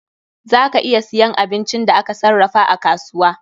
Za ka iya siyan abincin da aka sarrafa a kasuwa.